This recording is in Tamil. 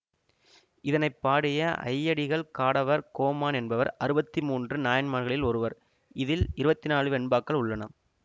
இதனை பாடிய ஐயடிகள் காடவர் கோமான் என்பவர் அறுபத்து மூன்று நாயன்மார்களில் ஒருவர் இதில் இருபத்தி நாளு வெண்பாக்கள் உள்ளன